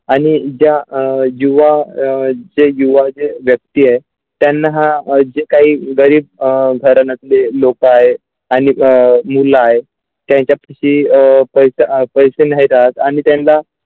आणि ज्या युवा अ जे युवा जी व्यक्ती आहे त्यांना हा जे काही गरीब घराण्यातले लोक आहे आणि अ मुलं आहे त्यांच्याकुशीत पैसा असायचे नाही आणि त्यांना.